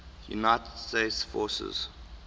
united states forces